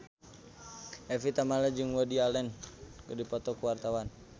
Evie Tamala jeung Woody Allen keur dipoto ku wartawan